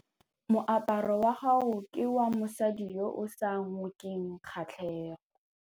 Moaparô wa gagwe ke wa mosadi yo o sa ngôkeng kgatlhegô.